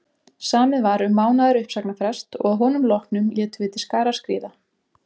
Samið var um mánaðar uppsagnarfrest og að honum loknum létum við til skarar skríða.